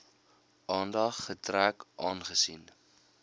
aandag getrek aangesien